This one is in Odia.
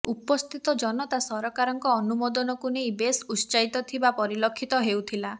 ଉପସ୍ଥିତ ଜନତା ସରକାରଙ୍କ ଅନୁମୋଦନକୁ ନେଇ ବେସ ଉତ୍ସାହିତ ଥିବା ପରିଲକ୍ଷିତ ହେଉଥିଲା